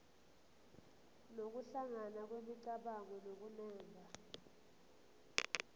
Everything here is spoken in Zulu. nokuhlangana kwemicabango nokunemba